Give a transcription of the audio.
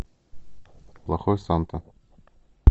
плохой санта